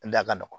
A da ka nɔgɔn